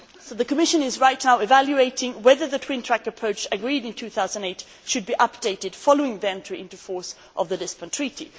The Commission is right now evaluating whether the twin track approach agreed in 2008 should be updated following the entry into force of the Lisbon Treaty.